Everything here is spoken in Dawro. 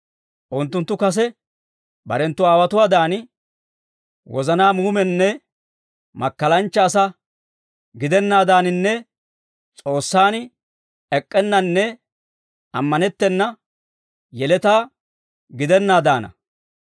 Unttunttu kase barenttu aawotuwaadan wozana muumenne makkalanchcha asaa gidennaaddaaninne S'oossan ek'k'ennanne ammanettena yeletaa gidenaaddaana.